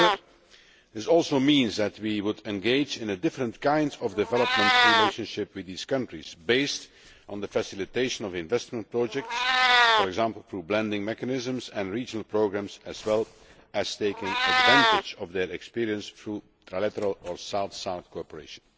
However, this also means that we would engage in a different kind of development relationship with these countries, based on the facilitation of investment projects, for example through blending mechanisms and regional programmes, as well as taking advantage of their experience through trilateral or South South cooperation.